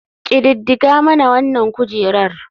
Ƙididdiga mana wanan kujerar.